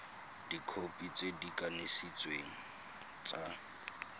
dikhopi tse di kanisitsweng tsa